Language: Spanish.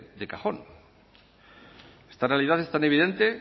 de cajón esta realidad es tan evidente